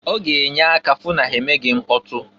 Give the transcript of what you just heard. Ọ ga-enye aka hụ na ha emeghi mkpọtụ.